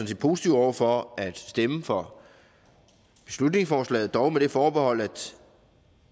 set positive over for at stemme for beslutningsforslaget dog med det forbehold